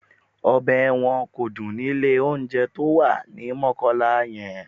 Ọbẹ̀ wọn kò dùn ni ilé-olóunjẹ tó wà ní Mọ́kọ́lá yẹn